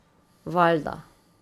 Valjda.